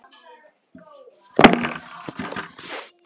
Ég er ekki heima